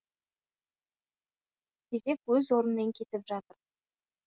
кезек өз орнымен кетіп жатыр